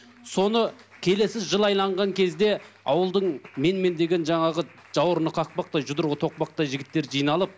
соны келесі жыл айналған кезде ауылдың мен мен деген жаңағы жауырыны қақпақтай жұдырығы тоқпақтай жігіттері жиналып